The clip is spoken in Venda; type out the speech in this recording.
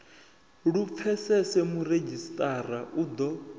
lu pfesese muredzhisitarara u ḓo